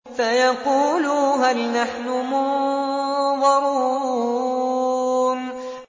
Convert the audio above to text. فَيَقُولُوا هَلْ نَحْنُ مُنظَرُونَ